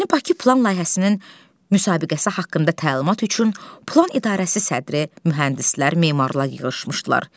Yeni Bakı plan layihəsinin müsabiqəsi haqqında təlimat üçün plan idarəsi sədri, mühəndislər, memarlar yığışmışdılar.